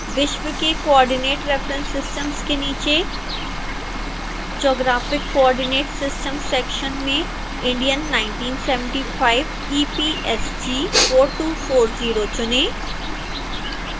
विश्व के coordinate reference systems के नीचे geographic coordinate systems सेक्शन मेंindian 1975 epsg:4240 चुनें